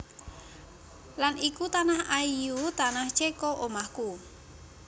Lan iku tanah ayu Tanah Ceko omahku